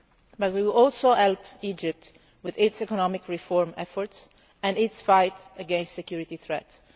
media. But we will also help Egypt with its economic reform efforts and its fight against security threats.